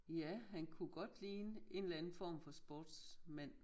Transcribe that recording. Ja han kunne godt ligne en eller anden form for sportsmand